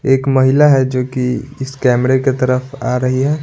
एक महिला है जो कि इस कैमरे के तरफ आ रही है।